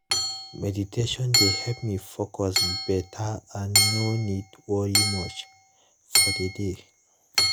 meditation dey help me focus beta and no need worry much for the day